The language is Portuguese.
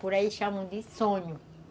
Por aí chamam de sonho.